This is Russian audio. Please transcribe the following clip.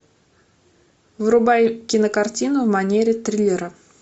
врубай кинокартину в манере триллера